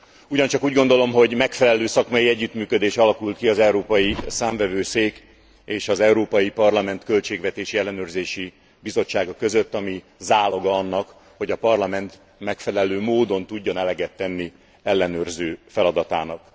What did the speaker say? Ugyancsak úgy gondolom, hogy megfelelő szakmai együttműködés alakult ki az Európai Számvevőszék és az Európai Parlament Költségvetési Ellenőrzési Bizottsága között, ami záloga annak, hogy a Parlament megfelelő módon tudjon eleget tenni ellenőrző feladatának.